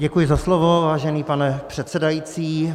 Děkuji za slovo, vážený pane předsedající.